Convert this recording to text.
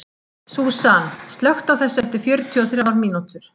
Súsan, slökktu á þessu eftir fjörutíu og þrjár mínútur.